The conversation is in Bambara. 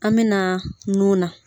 An bɛ na nun na.